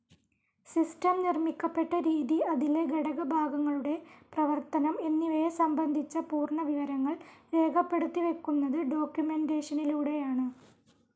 System നിർമിക്കപ്പെട്ട രീതി അതിലെ ഘടകഭാഗങ്ങളുടെ പ്രേവര്തനം എന്നിവയെ സംബന്ധിച്ച പൂർണ വിവരങ്ങൾ രേഖപെടുത്തിവയ്ക്കുന്നത് ഡോക്യുമെൻറേഷനിലൂടെയാണ്.